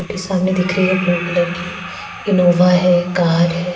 Scooty सामने दिख रही है ब्लू कलर की इनोवा है कार है।